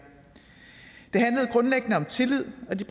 det handlede grundlæggende om tillid og de